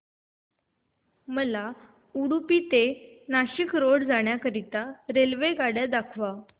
मला उडुपी ते नाशिक रोड जाण्या करीता रेल्वेगाड्या दाखवा